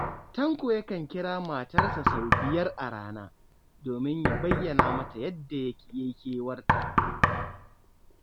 Tanko yakan kira matarsa sau biyar a rana, domin ya bayyana mata yadda ya yi kewarta.